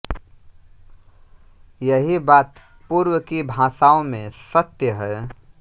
यही बात पूर्व की भाषाओं में सत्य है